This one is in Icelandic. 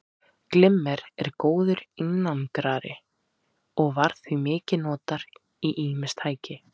Glimmer er góður einangrari og var því mikið notað í ýmis raftæki.